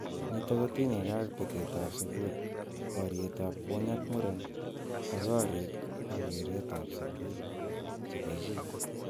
Nitok kotinyekei ak betet ab sukul, boriet ab kwony ak muren ak korik ak keret ab sukul�chebo�chi.